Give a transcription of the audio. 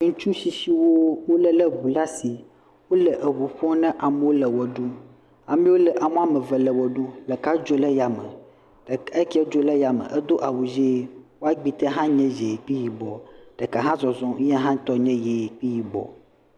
Ŋutsu tsitsiwo wole eŋu ɖe asi. Wole eŋu ƒom na amewo wole ʋe ɖum. Amewo le, ame woame eve wole ʋe ɖum. Ɖeka dzo le ya me. Eke dzo ɖe yame edo awu ʋi. eƒe agbete hã nye yi kple yibɔ. Ɖeka hã zɔzɔ etɔ hã nye yi kple yibɔ.